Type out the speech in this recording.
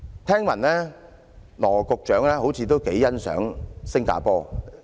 聽聞羅局長似乎頗欣賞"獅城"新加坡。